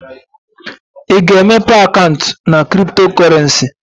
Ị ga-emepe akaụntụ na cryptocurrency?